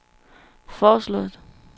foreslået